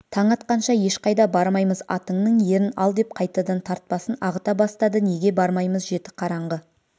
таң атқанша ешқайда бармаймыз атыңның ерін ал деп қайтадан тартпасын ағыта бастады неге бармаймыз жеті қараңғы